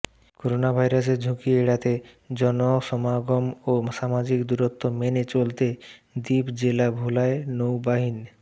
করোনাভাইরাসের ঝুঁকি এড়াতে জনসমাগম ও সামাজিক দূরত্ব মেনে চলতে দ্বীপ জেলা ভোলায় নৌবাহিন